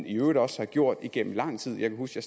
i øvrigt også gjort det igennem lang tid jeg kan huske at